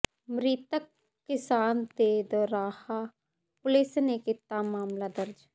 ਮ੍ਰਿਤਕ ਕਿਸਾਨ ਤੇ ਦੋਰਾਹਾ ਪੁਲਿਸ ਨੇ ਕੀਤਾ ਮਾਮਲਾ ਦਰਜ